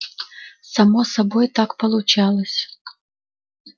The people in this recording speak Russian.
само собой так получалось